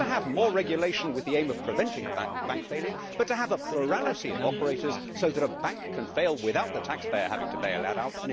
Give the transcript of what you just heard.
not to have more regulation with the aim of preventing bank failure, but to have a plurality of operators so that a bank can fail without the taxpayer having to bail it out.